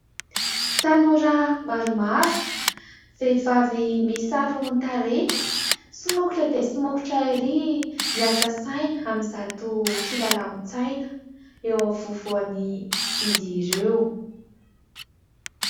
Tanora maromaro, vehivavy misaron-tarehy. Somokotra dia somokotra erỳ miasa saina amin'izato kilalaon-tsaina, eo afovoan'izy ireo.